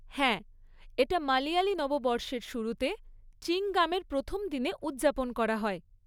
হ্যাঁ, এটা মালয়ালি নববর্ষের শুরুতে, চিংগামের প্রথম দিনে উদযাপন করা হয়।